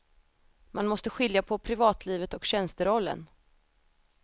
Man måste skilja på privatlivet och tjänsterollen.